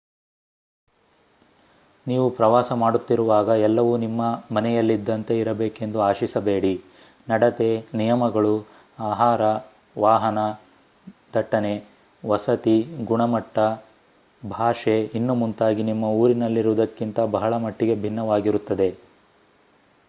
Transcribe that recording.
ನೀವು ಪ್ರವಾಸ ಮಾಡುತ್ತಿರುವಾಗ ಎಲ್ಲವೂ ನಿಮ್ಮ ಮನೆಯಲ್ಲಿದ್ದಂತೆ ಇರಬೇಕೆಂದು ಆಶಿಸಬೇಡಿ ನಡತೆ ನಿಯಮಗಳು ಆಹಾರ ವಾಹನ ದಟ್ಟಣೆ ವಸತಿ ಗುಣಮಟ್ತ ಭಾಷೆ ಇನ್ನೂ ಮುಂತಾಗಿ ನಿಮ್ಮ ಊರಿನಲ್ಲಿರುವುದಕ್ಕಿಂತ ಬಹಳ ಮಟ್ಟಿಗೆ ಭಿನ್ನವಾಗಿರುತ್ತದೆ